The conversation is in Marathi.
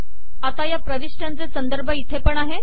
आता या प्रविष्ट्यांचे संदर्भ इथे पण आहे